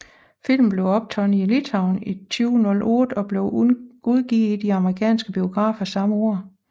Filmen blev optaget i Litauen i 2008 og blev udgivet i de amerikanske biografer samme år